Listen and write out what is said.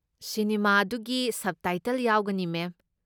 Cinema ꯑꯗꯨꯒꯤ subtitle ꯌꯥꯎꯒꯅꯤ, ꯃꯦꯝ꯫